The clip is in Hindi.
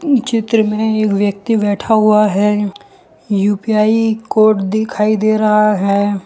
चित्र में एक व्यक्ति बैठा हुआ है यू_पी_आई कोड दिखाई दे रहा है।